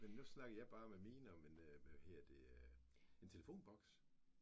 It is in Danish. Men nu snakkede jeg bare med minde om en hvad hedder det en telefonboks